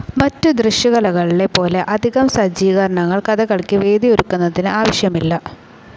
മറ്റ് ദൃശ്യകലകളിലെ പോലെ അധികം സജ്ജീകരണങ്ങൾ കഥകളിക്ക് വെന്യൂ ഒരുക്കുന്നതിന് ആവശ്യമില്ല.